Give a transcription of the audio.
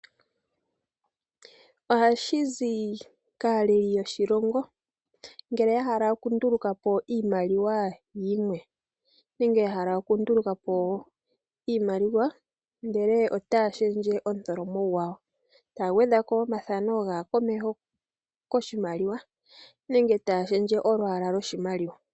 Ohashi zi kaaleli yoshilongo ngele yahala okundulukapo iimaliwa yimwe nenge yahala okundulukapo iimaliwa yimwe ndele otaya omutholomo gwayo, taya gwedhako omafano gaakomeho koshimaliwa nenge taya shendje olwaala lyoshimaliwa.